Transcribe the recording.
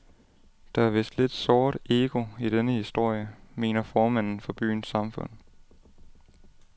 Der er vist lidt såret ego i denne historie, mener formanden for byens samfund.